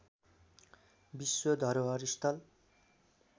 विश्व धरोहर स्थल